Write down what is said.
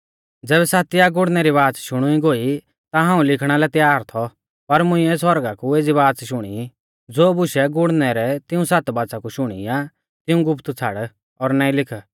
ज़ैबै सातिआ गुड़णै री बाच़ शुणुई गोई ता हाऊं लिखणा लै त्यार थौ पर मुंइऐ सौरगा कु एज़ी बाच़ शुणी ज़ो बुशै गुड़णै रै तिऊं सात बाच़ा कु शुणी आ तिऊं गुप्त छ़ाड़ और नाईं लिख